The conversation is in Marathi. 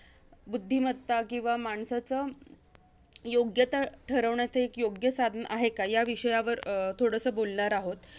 बुद्धिमत्ता, किंवा माणसाचं योग्यता ठरवण्याचं एक योग्य साधन आहे का? या विषयावर अं थोडसं बोलणार आहोत.